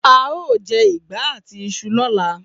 A óò je̩ ìgbá àti is̩u ló̩la